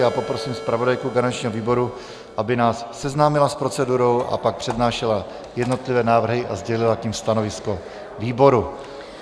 Já poprosím zpravodajku garančního výboru, aby nás seznámila s procedurou a pak přednášela jednotlivé návrhy a sdělila k nim stanovisko výboru.